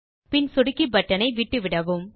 பின் சொடுக்கி பட்டன் ஐ விட்டுவிடவும்